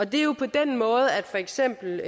det er jo på den måde at for eksempel